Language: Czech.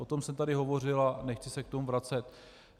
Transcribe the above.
O tom jsem tady hovořil a nechci se k tomu vracet.